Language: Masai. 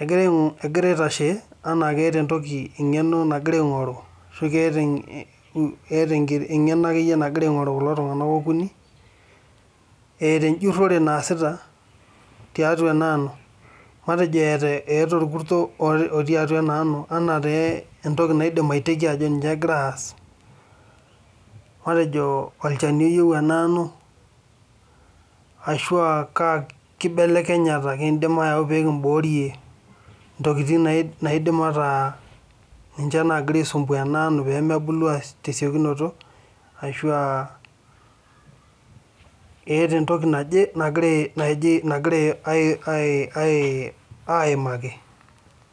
They are standing like they is a knowledge there are looking for or there is a skill they are looking for as they are doing a research in this wheat let's say there is a pest in this wheat as something I can guess they are doing let's say a pesticide is needed in this wheat or which changes can we bring to prevent things that are preventing this wheat from growing fast or there is something they are talking about.